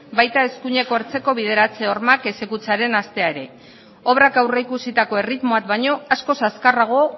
baita eskuineko hartzeko bideratze hormak exekutatzearen hastea ere obrak aurreikusitako erritmoak baino askoz azkarrago